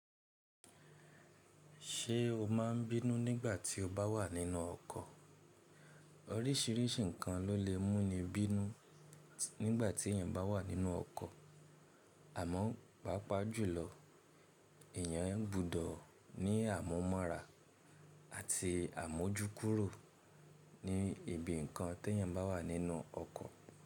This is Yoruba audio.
Ṣé o máa n bínú nígbà tí o bá wà nínú ọkọ̀? Oríṣìíríṣìí nǹkan ló lè mú ni bínú nígbà tí èèyàn bá wà nínú ọkọ̀. Àmọ́, pàápàá jùlọ èèyàn gbúdọ̀ ní àmúmọ̀ra àti àmójúkúrò ní ibi nǹkan tí èèyàn bá wà nínú ọkọ̀.